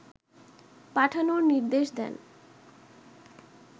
পাঠানোর নির্দেশ দেন